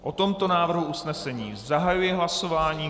O tomto návrhu usnesení zahajuji hlasování.